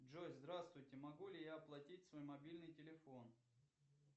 джой здравствуйте могу ли я оплатить свой мобильный телефон